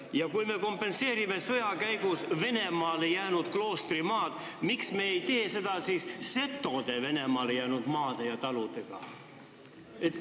Ja kui me kompenseerime sõja käigus Venemaale jäänud kloostri maad, miks me ei hüvita siis setode Venemaale jäänud maad ja talusid?